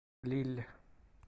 лилль